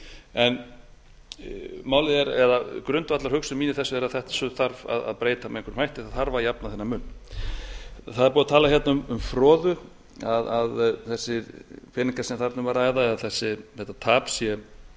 að skoða það grundvallarhugsun mín í þessu er að þessu þurfi að breyta með einhverjum hætti það þarf að jafna þennan mun það er búið að tala hérna um froðu að þessir peningar sem þarna er um að ræða eða þetta tap